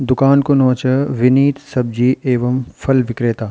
दुकान कु नौ च विनीत सब्जी एवम फल विक्रेता।